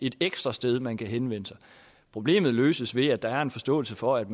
et ekstra sted man kan henvende sig problemet løses ved at der er en forståelse for at